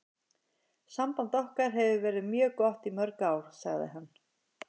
Samband okkar hefur verið mjög gott í mörg ár, sagði hann.